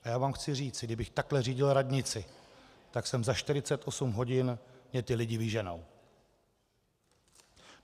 A já vám chci říci, kdybych takhle řídil radnici, tak jsem za 48 hodin - mě ty lidi vyženou.